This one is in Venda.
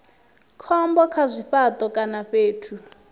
khombo kha zwifhato kana fhethu